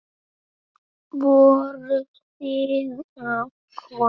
Voruð þið að koma?